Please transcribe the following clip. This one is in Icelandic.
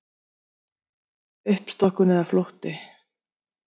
Uppstokkun eða flótti?